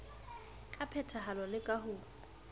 ka phethahalo le ka ho